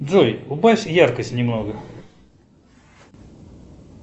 джой убавь яркость немного